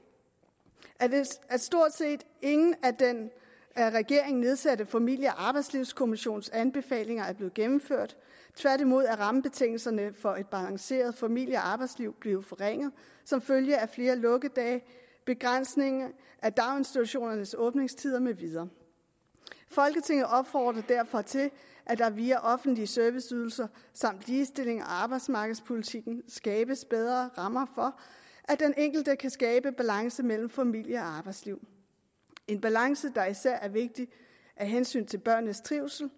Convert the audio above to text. at stort set ingen af den af regeringen nedsatte familie og arbejdslivskommissions anbefalinger er blevet gennemført tværtimod er rammebetingelserne for et balanceret familie og arbejdsliv blevet forringet som følge af flere lukkedage begrænsning af daginstitutioners åbningstider med videre folketinget opfordrer derfor til at der via offentlige serviceydelser samt ligestillings og arbejdsmarkedspolitikken skabes bedre rammer for at den enkelte kan skabe balance mellem familie og arbejdsliv en balance der især er vigtig af hensyn til børnenes trivsel